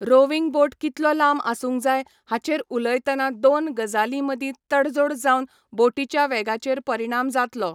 Roving boat कितलो लांब आसूंक जाय हाचेर उलयतना दोन गजालीं मदीं तडजोड जावन बोटीच्या वेगाचेर परिणाम जातलो.